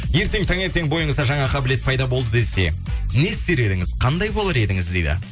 ертең таңертең бойыңызда жаңа қабілет пайда болды десе не істер едіңіз қандай болар едіңіз дейді